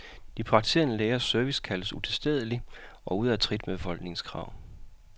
De praktiserende lægers service kaldes utilstedelig og ude af trit med befolkningens krav.